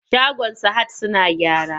Shagon sahad suna gyara.